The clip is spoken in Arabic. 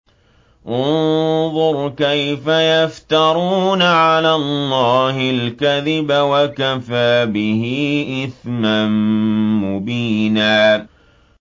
انظُرْ كَيْفَ يَفْتَرُونَ عَلَى اللَّهِ الْكَذِبَ ۖ وَكَفَىٰ بِهِ إِثْمًا مُّبِينًا